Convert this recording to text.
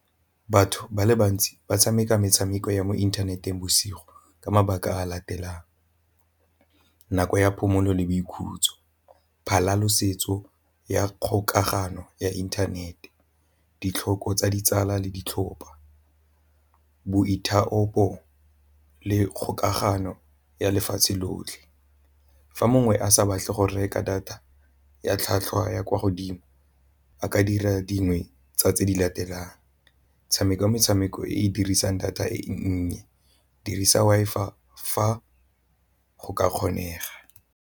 Batho ba le bantsi ba tshameka metshameko ya mo inthaneteng bosigo ka mabaka a latelang nako ya phomolo le boikhutso, ya kgokagano ya inthanete ditlhoko tsa ditsala le ditlhopa, boithaopo le kgokagano ya lefatshe lotlhe. Fa mongwe a sa batle go reka data ya tlhwatlhwa ya kwa godimo a ka dira dingwe tsa tse di latelang tshameke metshameko e e dirisang data e nnye, dirisa Wi-Fi fa go ka kgonega.